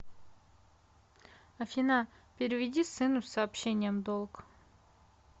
афина переведи сыну с сообщением долг